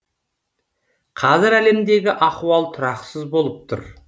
қазір әлемдегі ахуал тұрақсыз болып тұр